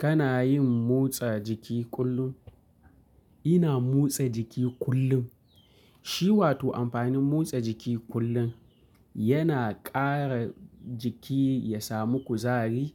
Kana yin motsa jiki kullum? Ina motsa jiki kullun, shi wato amfanin motsa jiki kullun yana ƙara jiki ya samu kuzari.